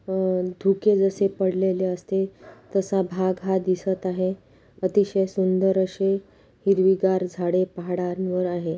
अ- धुके जसे पडलेले असतील तसा भाग हा दिसत आहे. अतिशय सुंदर अशी हिरवी घार झाडे पहाडानवर आहे.